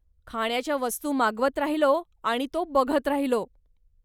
खाण्याच्या वस्तू मागवत राहिलो आणि तो बघत राहिलो.